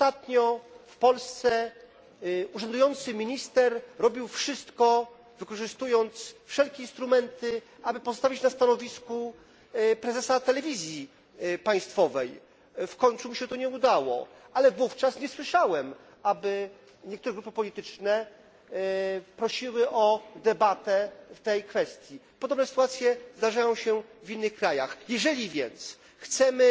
Ostatnio w Polsce urzędujący minister robił wszystko, wykorzystując wszelkie instrumenty, aby pozostawić na stanowisku prezesa telewizji państwowej. W końcu mu się to nie udało, ale wówczas nie słyszałem, aby niektóre grupy polityczne prosiły o debatę w tej kwestii. Podobne sytuacje zdarzają się w innych krajach. Jeżeli więc chcemy,